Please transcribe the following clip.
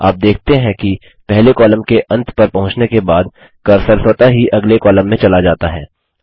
आप देखते हैं कि पहले कॉलम के अंत पर पहुँचने के बाद कर्सर स्वतः ही अगले कॉलम में चला जाता है